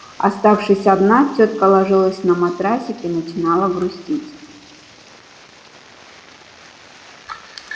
оставшись одна тётка ложилась на матрасик и начинала грустить